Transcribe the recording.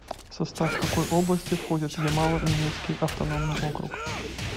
в состав какой области входит ямало ненецкий автономный округ